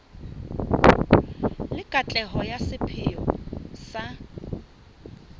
le katleho ya sepheo sa